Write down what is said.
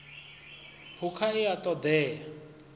phukha i a ṱo ḓea